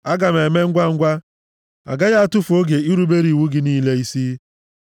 Aga m eme ngwangwa, agaghị atụfu oge irubere iwu gị niile isi.